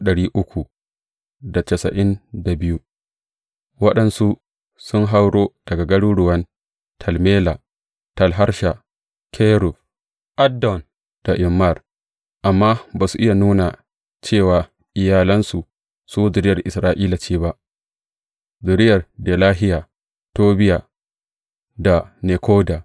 Waɗansu sun hauro daga garuruwan Tel Mela, Tel Harsha, Kerub, Addon da Immer, amma ba su iya nuna cewa iyalansu su zuriyar Isra’ila ce ba, zuriyar Delahiya, Tobiya, da Nekoda